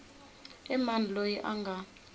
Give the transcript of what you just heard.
i mani loyi a nga